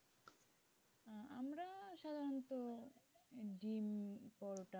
পরোটা,